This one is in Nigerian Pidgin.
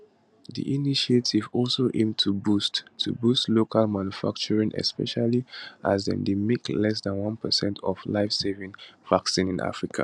di initiative also aim to boost to boost local manufacturing especially as dem dey make less dan one percent of lifesaving vaccines in africa